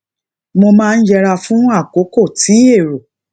mo máa ń yẹra fún àkókò tí èrò